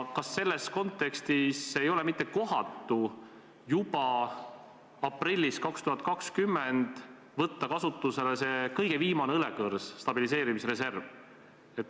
Kas selles kontekstis ei ole kohatu juba 2020. aasta aprillis võtta kasutusele see kõige viimane õlekõrs, stabiliseerimisreserv?